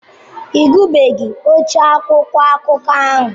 Ị gụbeghi ochie akwụkwọ akụkọ ahụ.